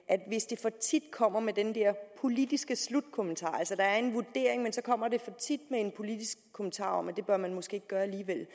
hvis de for tit kommer med den der politiske slutkommentar altså der er en vurdering men så kommer de for tit med en politisk kommentar om at det bør man måske ikke gøre